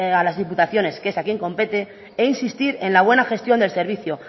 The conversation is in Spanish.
a las diputaciones que es quien compete e insistir en la buena gestión del servicio